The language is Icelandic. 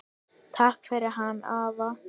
Takk fyrir hann afa.